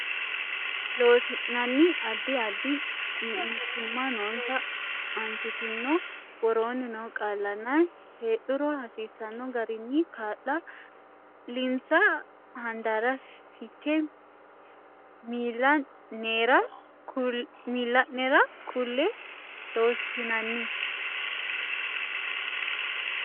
Loossinanni Addi addi mitiimma noonsa Aanchitineno woroonni noo qaallanna heedhuro hasiisanno garinni kaa linsa handaarra fiche miilla nera kulle Loossinanni.